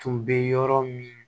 Tun bɛ yɔrɔ min